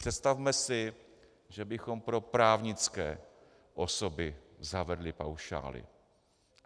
Představme si, že bychom pro právnické osoby zavedli paušály.